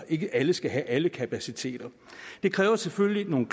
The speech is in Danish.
ikke alle skal have alle kapaciteter det kræver selvfølgelig nogle